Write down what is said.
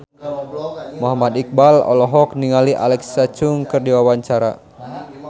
Muhammad Iqbal olohok ningali Alexa Chung keur diwawancara